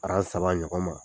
saba ɲɔgɔn ma.